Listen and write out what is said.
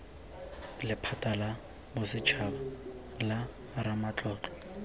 lephata la bosetshaba la ramatlotlo